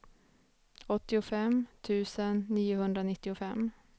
åttiofem tusen niohundranittiofem